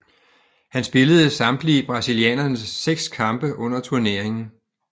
Han spillede samtlige brasilianernes seks kampe under turneringen